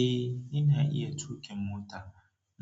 Eh, ina iya tuƙin mota.